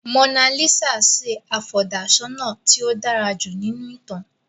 Mona Lisa sì afọ̀dà-ṣọnà tí ó dára jù nínú ìtàn.